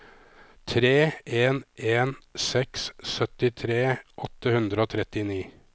tre en en seks syttitre åtte hundre og trettini